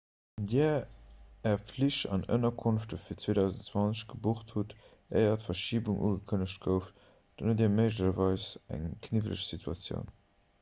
wann dir är flich an ënnerkonft fir 2020 gebucht hutt éier d'verschibung ugekënnegt gouf dann hutt dir méiglecherweis eng kniwweleg situatioun